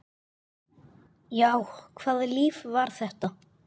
Já, hvaða líf var þetta?